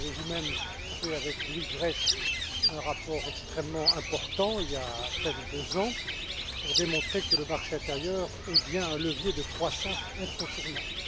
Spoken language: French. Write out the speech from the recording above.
vous avez vous même élaboré avec Louis Grech un rapport extrêmement important, il y a à peine deux ans, pour démontrer que le marché intérieur est bien un levier de croissance incontournable.